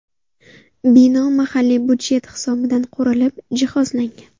Bino mahalliy budjet hisobidan qurilib, jihozlangan.